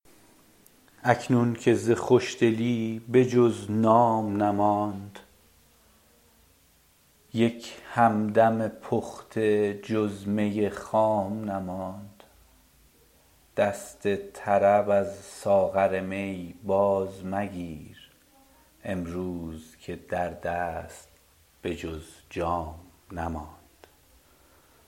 اکنون که ز خوشدلی به جز نام نماند یک همدم پخته جز می خام نماند دست طرب از ساغر می بازمگیر امروز که در دست به جز جام نماند